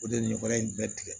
O de ye nin wara in bɛɛ tigɛ